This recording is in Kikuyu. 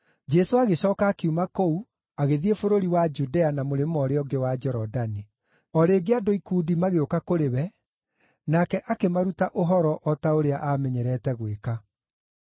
Jesũ agĩcooka akiuma kũu agĩthiĩ bũrũri wa Judea na mũrĩmo ũrĩa ũngĩ wa Jorodani. O rĩngĩ andũ ikundi magĩũka kũrĩ we, nake akĩmaruta ũhoro o ta ũrĩa aamenyerete gwĩka.